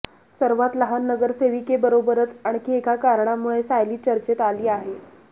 सर्वात लहान नगरसेविकेबरोबरच आणखी एका कारणामुळे सायली चर्चेत आली आहे